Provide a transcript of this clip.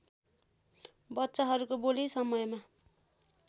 बच्चाहरूको बोली समयमा